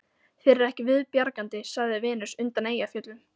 Þér er ekki viðbjargandi, sagði Venus undan Eyjafjöllum